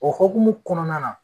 O hokumu kɔnɔna na